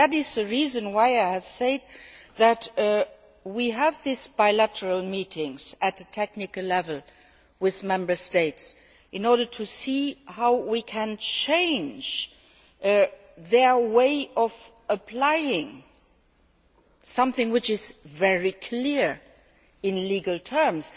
This is the reason why I have said that we have these bilateral meetings at technical level with Member States in order to see how we can change their way of applying something which is very clear in legal terms.